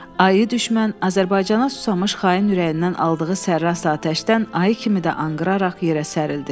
Ayı düşmən Azərbaycana susamış xain ürəyindən aldığı sərrast atəşdən ayı kimi də anqıraraq yerə sərildi.